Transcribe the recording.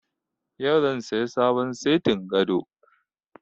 Yau zan saya sabon setin gado